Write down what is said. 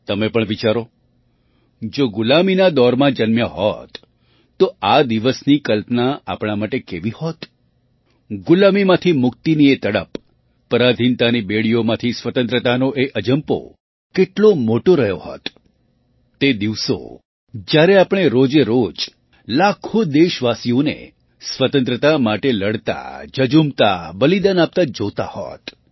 તમે પણ વિચારો જો ગુલામીના દૌરમાં જન્મ્યા હોત તો આ દિવસની કલ્પના આપણા માટે કેવી હોત ગુલામીમાંથી મુક્તિની એ તડપ પરાધીનતાની બેડીઓમાંથી સ્વતંત્રતાનો એ અજંપો કેટલો મોટો રહ્યો હોત તે દિવસો જ્યારે આપણે રોજેરોજ લાખો દેશવાસીઓને સ્વતંત્રતા માટે લડતા ઝઝૂમતા બલિદાન આપતાં જોતા હોત